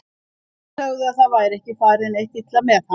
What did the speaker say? Þeir sögðu að það væri ekki farið neitt illa með hann.